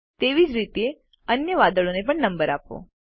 તેવી જ રીતે અન્ય વાદળોને પણ નંબર આપો